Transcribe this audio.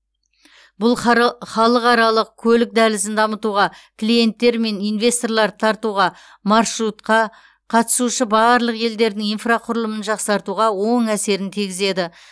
бұл хары халықаралық көлік дәлізін дамытуға клиенттер мен инвесторларды тартуға маршрутқа қатысушы барлық елдердің инфрақұрылымын жақсартуға оң әсерін тигізеді